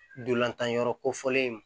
Ntolantan yɔrɔ kofɔlen in